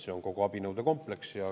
See on kogu abinõude kompleks.